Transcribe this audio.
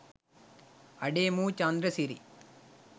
අඩේ මූ චන්ද්‍රසිරි